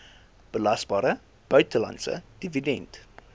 belasbare buitelandse dividend